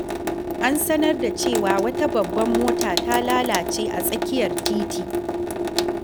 An sanar da cewa wata babbar mota ta lalace a tsakiyar titi.